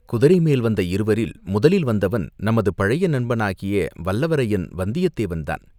குதிரைமேல் வந்த இருவரில் முதலில் வந்தவன் நமது பழைய நண்பனாகிய வல்லவரையன் வந்தியத்தேவன்தான்.